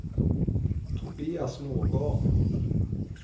Tobias Nordgård